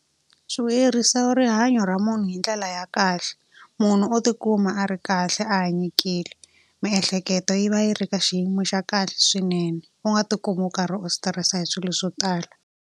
Swi vuyerisa rihanyo ra munhu hi ndlela ya kahle. Munhu u tikuma a ri kahle a hanyekile, miehleketo yi va yi ri ka xiyimo xa kahle swinene. U nga tikumi u karhi u stress-a hi swilo swo tala.